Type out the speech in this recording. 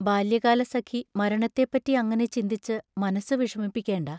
ബാല്യകാലസഖി മരണത്തെപ്പറ്റി അങ്ങനെ ചിന്തിച്ചു മനസ്സു വിഷമിപ്പിക്കേണ്ട.